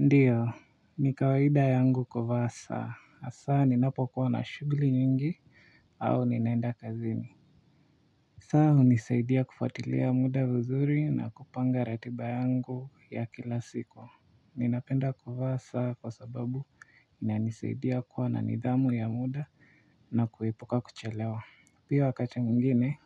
Ndiyo, nikawaida yangu kuvaa saa, hasa ninapokuwa na shughuli nyingi, au ninaenda kazini saa hunisaidia kufuatilia muda vizuri na kupanga ratiba yangu ya kila siku ninapenda kuvaa saa kwa sababu inanisaidia kuwa na nidhamu ya muda na kuepuka kuchelewa pia wakati mwingine,